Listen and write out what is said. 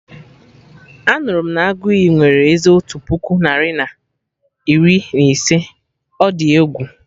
Anụrụ m na Aguiyi nwere eze otu puku narị na iri na ise, ọ dị egwu!